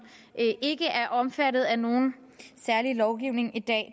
ikke er omfattet af nogen særlig lovgivning i dag